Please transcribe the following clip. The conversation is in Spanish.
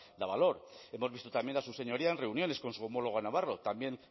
davalor hemos visto también a su señoría en reuniones con su homólogo navarro también